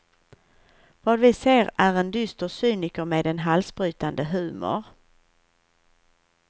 Vad vi ser är en dyster cyniker med en halsbrytande humor.